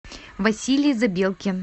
василий забелкин